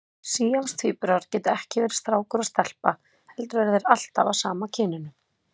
Síamstvíburar geta ekki verið strákur og stelpa heldur eru þeir alltaf af sama kyninu.